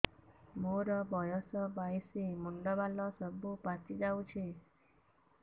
ମୋର ବୟସ ବାଇଶି ମୁଣ୍ଡ ବାଳ ସବୁ ପାଛି ଯାଉଛି